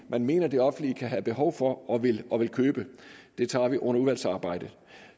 man mener at det offentlige kan have behov for og vil og vil købe det tager vi under udvalgsarbejdet